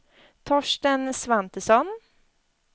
Torsten Svantesson